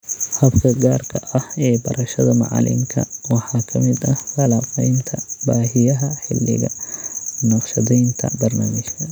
Habka gaarka ah ee barashada macalinka waxaa ka mid ah falanqaynta baahiyaha xilliga naqshadaynta barnaamijka.